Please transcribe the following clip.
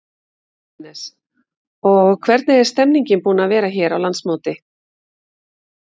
Jóhannes: Og hvernig er stemmningin búin að vera hérna á landsmóti?